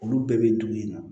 Olu bɛɛ bɛ dun yen nɔ